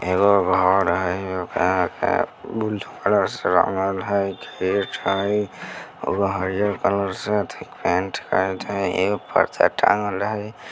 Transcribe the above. एगो घर हई बुलू कलर से रंगल हई गेट हई और उ हरियल कलर से अथी पेंट कइल हई एगो पर्दा टाँगल हई ।